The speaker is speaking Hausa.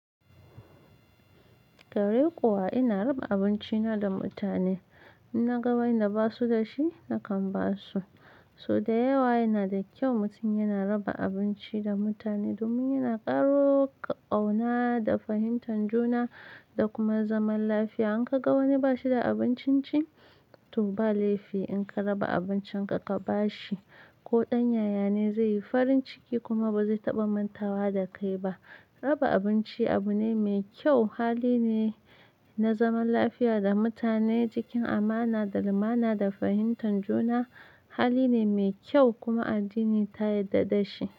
Kwarai kuwa ina raba abincina da mutane. In na ga wanda ba su da shi, nakan ba su. So da yawa yana da kyau mutum yana raba abinci da mutane domin yana ƙaro ƙauna da fahimtar juna da kuma zaman lafiya. In ka ga wani ba shi da abincin ci, to ba laifi in ka raba abincinka ka ba shi. Ko ɗan yayane zai yi farin ciki kuma ba zai taɓa manta wa da kai ba. Raba abinci abu ne mai kyau, hali ne na zaman lafiya da mutane cikin amana da lumana da fahimtar juna. Hali ne mai kyau kuma addini ta yarda da shi.